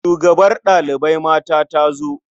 Shugabar ɗalibai mata ta zo?